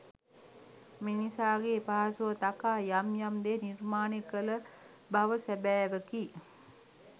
මිනිසාගේ පහසුව තකා යම් යම් දේ නිර්මාණය කළ බව සැබෑවකි.